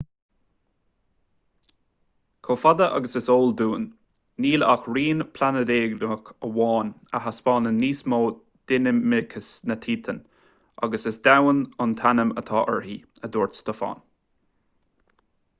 chomh fada agus is eol dúinn níl ach rinn phláinéadach amháin eile a thaispeánann níos mó dinimicis ná titan agus is domhan an t-ainm atá uirthi a dúirt stofan